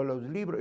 Olha os livros.